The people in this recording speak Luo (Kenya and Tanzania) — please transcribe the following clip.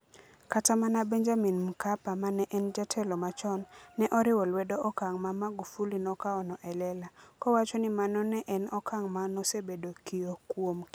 Kata mana Benjamin Mkapa ma ne en jatelo machon, ne oriwo lwedo okang ' ma Magufuli nokawono e lela, kowacho ni mano ne en okang ' ma nosebedo kiyo kuom kinde malach.